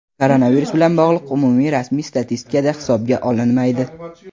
koronavirus bilan bog‘liq umumiy rasmiy statistikada hisobga olinmaydi.